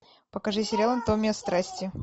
покажи сериал анатомия страсти